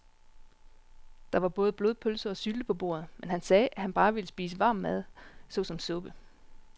Der var både blodpølse og sylte på bordet, men han sagde, at han bare ville spise varm mad såsom suppe.